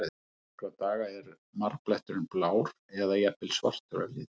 Eftir nokkra daga er marbletturinn blár eða jafnvel svartur að lit.